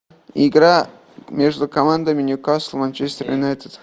игра между командами ньюкасл манчестер юнайтед